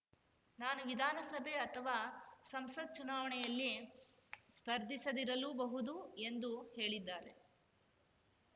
ನಾನು ವಿಧಾನಸಭೆ ಅಥವಾ ಸಂಸತ್‌ ಚುನಾವಣೆಯಲ್ಲಿ ಸ್ಪರ್ಧಿಸದಿರಲೂ ಬಹುದು ಎಂದು ಹೇಳಿದ್ದಾರೆ